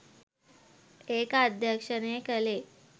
ඒක අධ්‍යක්‍ෂණය කළේ